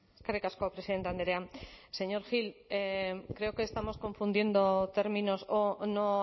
eskerrik asko presidente andrea señor gil creo que estamos confundiendo términos o no